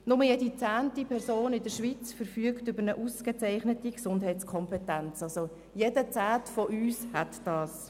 Nur jede zehnte Person in der Schweiz verfügt über eine ausgezeichnete Gesundheitskompetenz, das heisst, jeder Zehnte von uns verfügt darüber.